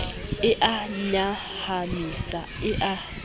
e a nyahamisa e a